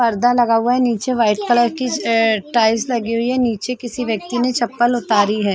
पर्दा लगा हुआ है निचे वाइट कलर की ये टाइल्स लगी हुई है निचे किसी व्यक्ति ने चप्पल उतारी है।